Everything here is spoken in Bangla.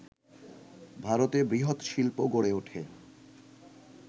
ভারতে বৃহৎ শিল্প গড়ে ওঠে